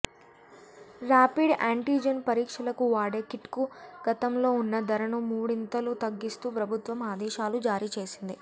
rapid antigen పరీక్షలకు వాడే కిట్కు గతంలో ఉన్న ధరను మూడొంతులు తగ్గిస్తూ ప్రభుత్వం ఆదేశాలు జారీ చేసింది